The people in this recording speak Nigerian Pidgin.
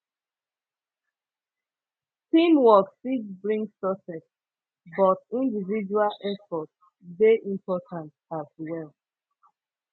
teamwork fit bring success but individual effort dey important as well